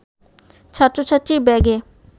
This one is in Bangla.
ছাত্র-ছাত্রীর ব্যাগে